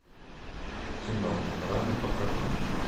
кино рами покажи